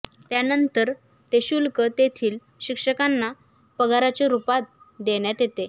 त्यानंतर ते शुल्क तेथील शिक्षकांना पगाराच्या रूपात देण्यात येते